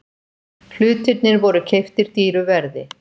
Hlutirnir voru keyptir dýru verði.